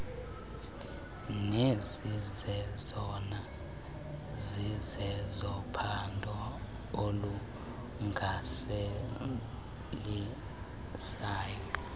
nezizezona zizezophambo olunyanzelisayo